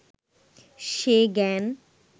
সে জ্ঞান